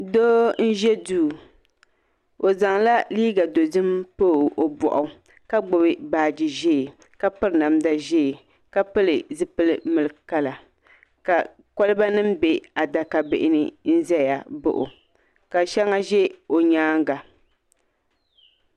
Doo n ʒɛ duu o zaŋla liiga dozim pa i boɣu ka gbubi baaji ʒiɛ ka piri namda ʒiɛ ka piri zipili milk kala ka kolba nim bɛ adaka bihi ni n ʒɛya baɣa o ka shɛŋa ʒɛ o nyaanga